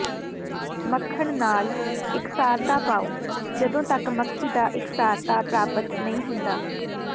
ਮੱਖਣ ਨਾਲ ਇਕਸਾਰਤਾ ਪਾਓ ਜਦੋਂ ਤੱਕ ਮੱਖੀ ਦਾ ਇਕਸਾਰਤਾ ਪ੍ਰਾਪਤ ਨਹੀਂ ਹੋ ਜਾਂਦਾ